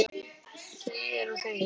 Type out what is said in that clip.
Þegir og þegir.